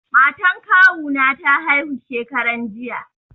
Matan kawu na ta haihu shekaran jiya.